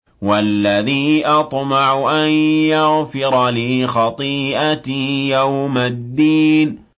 وَالَّذِي أَطْمَعُ أَن يَغْفِرَ لِي خَطِيئَتِي يَوْمَ الدِّينِ